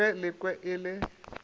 ka ge lekwe e le